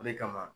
O de kama